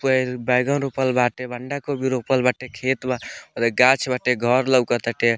बैंगन रोपल बाटे बंद गोभी रोपल बाटे खेत बा गाछ बाटे घर लउकत ताटे।